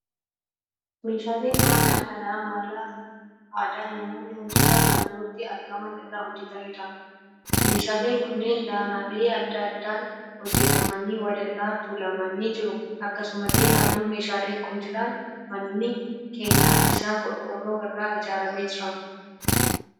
Meeshaalee manaa kan mala aadaan namoonni wantoota naannootti argaman irraa hojjetaniidha. Meeshaaleen kunneen danaalee adda addaan hojjetamanii wal irra tuulamanii jiru. Akkasumallee naannoo meeshaaleen kun jiran mannii keenyan isaa qorqorroo irraa ijaarame jira.